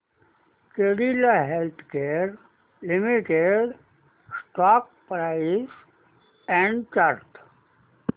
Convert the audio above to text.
Cadila Healthcare Limited stock price and chart